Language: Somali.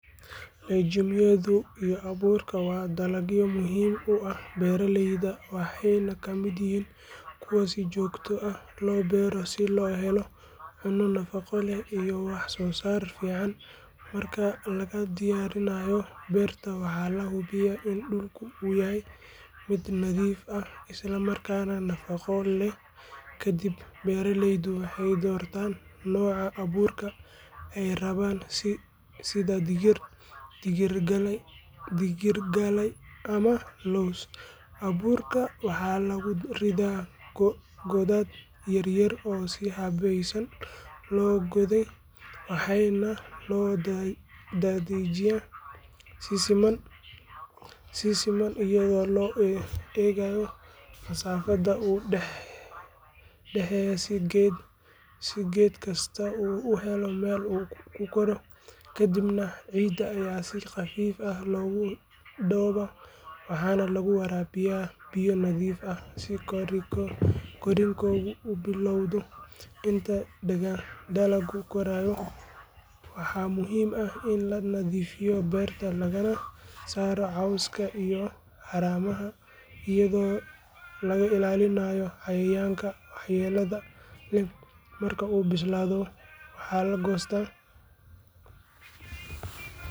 Legume yadu iyo abuurka waa dalagyo muhiim u ah beeraleyda waxayna ka mid yihiin kuwa si joogto ah loo beero si loo helo cunno nafaqo leh iyo wax soo saar fiican. Marka la diyaarinayo beerta waxaa la hubiyaa in dhulku yahay mid nadiif ah isla markaana nafaqo leh kadib beeraleydu waxay doortaan nooca abuurka ay rabaan sida digir, digirgalay ama lows. Abuurka waxaa lagu ridaa godad yar yar oo si habaysan loo qoday waxaana loo daadejiyaa si siman iyadoo loo eegayo masaafada u dhaxeysa si geed kastaa u helo meel uu ku koro. Kadibna ciidda ayaa si khafiif ah loogu daboolaa waxaana lagu waraabiyaa biyo nadiif ah si korriinku u bilowdo. Inta dalaggu korayo waxaa muhiim ah in la nadiifiyo beerta lagana saaro cawska iyo haramaha iyadoo laga ilaalinayo cayayaanka waxyeelada leh. Marka uu bislaado waxaa la goostaa.